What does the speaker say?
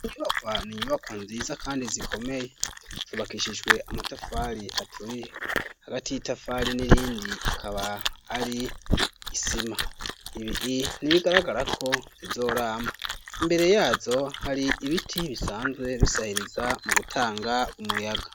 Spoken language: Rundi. Inyubakwa n'inyubakwa nziza kandi zikomeye zubakishijwe amatafari aturiye hagati y'itafari n'irindi akaba ari isima ibi nibigaragarako zizoramba imbere yazo hari ibiti bisanzwe bisahiriza mu gutanga umuyaga.